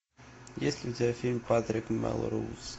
есть ли у тебя фильм патрик мелроуз